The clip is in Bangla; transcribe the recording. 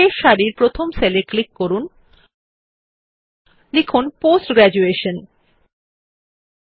শেষ সারির প্রথম সেল এ ক্লিক করে লিখুন পোস্ট গ্র্যাজুয়েশন পাশের সেল এ ৭০ শতাংশ লিখুন